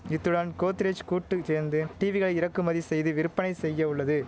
இத்துடன் கோத்ரேஜ் கூட்டு சேர்ந்து டீவிகளை இறக்குமதி செய்து விற்பனை செய்ய உள்ளது